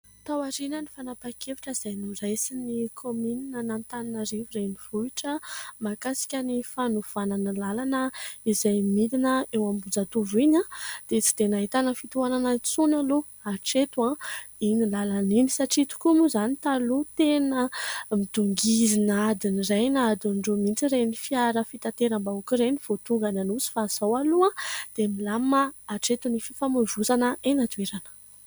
Taorian'ny fanapahan-kevitra izay noraisin'ny kaominin'Antananarivo renivohitra mahakasika ny fanovana ny lalana izay midina eo Ambohijatovo iny dia tsy dia nahitana fitohanana intsony aloha atreto iny lalana iny. Satria tokoa moa izany taloha tena midongizina adin'iray na adin'ny roa mihitsy ireny fiara fitateram-bahoaka ireny vao tonga any Anosy fa izao aloha dia milamina atreto ny fifamoivozana eny an-toerana.